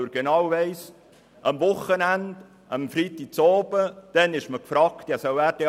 Weil er genau weiss, dass man am Wochenende und am Freitagabend gefragt ist.